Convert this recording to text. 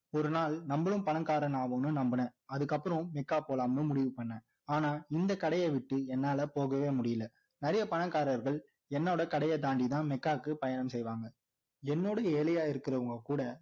ஒரு நாள் நம்மளும் பணக்காரனாவோம்னு நம்புனேன் அதுக்கப்புறம் மெக்கா போலாம்னு முடிவு பண்ணேன் ஆனா இந்த கடைய விட்டு என்னால போகவே முடியல நிறைய பணக்காரர்கள் என்னோட கடைய தாண்டி தான் மெக்காவுக்கு பயணம் செய்வாங்க என்னோட ஏழையா இருக்கிறவங்க கூட